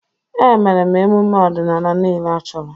Emere m emume ọdịnala niile achọrọ.